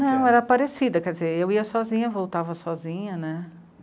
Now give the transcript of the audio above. Não, era parecida, quer dizer, eu ia sozinha, voltava sozinha, né?